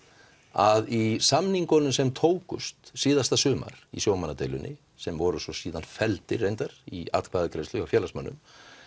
að í samningunum sem tókst síðasta sumar í sjómannadeilunni sem voru svo felldir reyndar í atkvæðagreiðslu hjá félagsmönnum